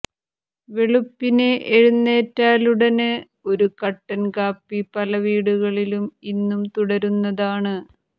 വെളുപ്പിനെ എഴുന്നേറ്റാലുടന് ഒരു കട്ടന് കാപ്പി പല വീടുകളിലും ഇന്നും തുടരുന്നതാണ്